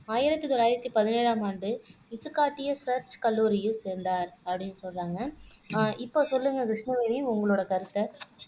ஆயிரத்தி தொள்ளாயிரத்தி பதினேழாம் ஆண்டு காட்டிய சேர்ச் கல்லூரியில் சேர்ந்தார் அப்படின்னு சொல்றாங்க அஹ் இப்ப சொல்லுங்க கிருஷ்ணவேணி உங்களோட கருத்தை